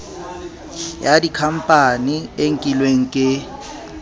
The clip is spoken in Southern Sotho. ya dikhampani e nkilweng ke